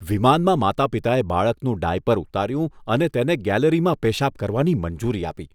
વિમાનમાં માતા પિતાએ બાળકનું ડાયપર ઉતાર્યું અને તેને ગેલેરીમાં પેશાબ કરવાની મંજૂરી આપી